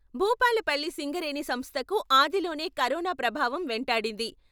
భూపాలపల్లి సింగరేణి సంస్థకు ఆదిలోనే కరోనా ప్రభావం వెంటాడింది.